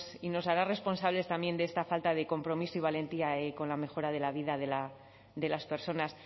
y nos hará responsables también de esta falta de compromiso y valentía con la mejora de la vida de las personas